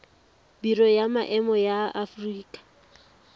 biro ya maemo ya aforika